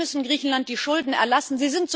Wir müssen Griechenland die Schulden erlassen.